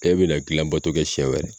E be na gilan bato kɛ sɛn wɛrɛ